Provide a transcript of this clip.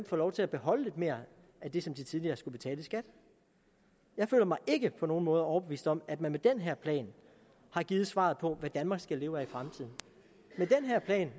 får lov til at beholde lidt mere af det som de tidligere skulle betale i skat jeg føler mig ikke på nogen måde overbevist om at man med den her plan har givet svaret på hvad danmark skal leve af i fremtiden